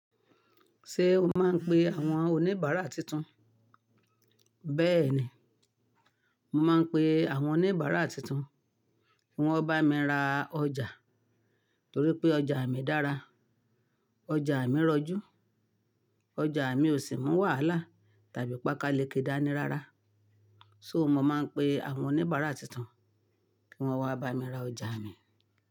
Ṣé o máa ń pe àwọn oníbàárà tuntun? Bẹ́ẹ̀ ni, mo máa ń pe àwọn oníbàárà tuntun kí wọ́n bá mi ra ọjà torí pé ọjà mi dára, ọjà mi rọjú, ọjà mi ò sì mú wàhálà tàbí pàkaleke dàní rara. So mo máa ń pe àwọn oníbàárà tuntun kí wọ́n o wá bá mi ra ọjà mi.